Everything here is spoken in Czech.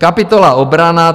Kapitola Obrana.